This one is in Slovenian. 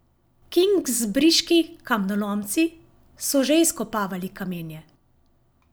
Kingsbriški kamnolomci so že izkopavali kamenje.